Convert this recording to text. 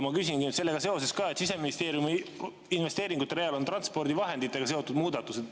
Ma küsingi sellega seoses, et Siseministeeriumi investeeringute real on transpordivahenditega seotud muudatused.